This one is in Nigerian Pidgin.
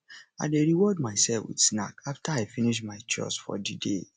i dey reward myself with snack after i i finish my chores for di day